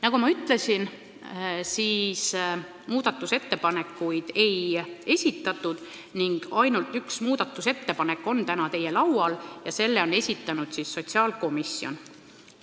Nagu ma ütlesin, muudatusettepanekuid ei esitatud, peale ühe, mis on täna teie laual ja mille on esitanud sotsiaalkomisjon.